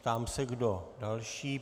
Ptám se, kdo další.